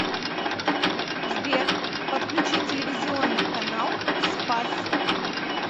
сбер подключи телевизионный канал спас